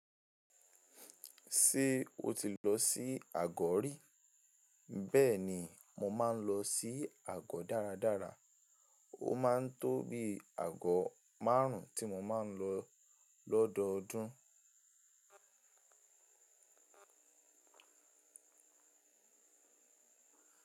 Ṣé o ti lọ sí àgọ̀ rí? Bẹ́ẹ̀ni, mo máa ń lọ sí àgọ̀ dáradára. Ó máa ń tó bí àgọ̀ márùn-ún tí mo máa ń lọ lọ́dọọdún.